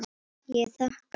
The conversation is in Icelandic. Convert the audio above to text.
Ég þakka.